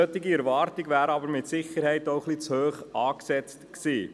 Eine solche Erwartung wäre aber mit Sicherheit auch etwas zu hoch gesteckt gewesen.